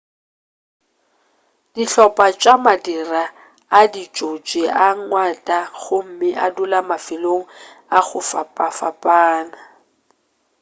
dihlopa tša madira a ditšotši a gwanta gomme a dula mafelong a go fapfapana